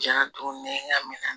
Diɲɛ don ni ɲagaminan